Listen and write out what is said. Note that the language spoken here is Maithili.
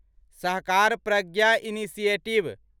सहकार प्रज्ञा इनिशिएटिव